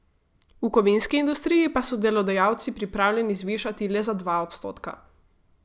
V kovinski industriji pa so delodajalci pripravljeni zvišati le za dva odstotka.